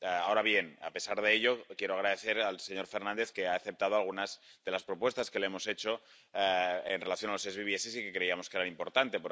Ahora bien, a pesar de ello, quiero agradecer al señor Fernández que haya aceptado algunas de las propuestas que le hemos hecho en relación con los BTDS y que creíamos que eran importantes.